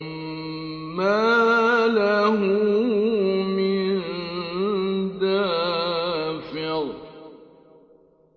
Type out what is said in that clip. مَّا لَهُ مِن دَافِعٍ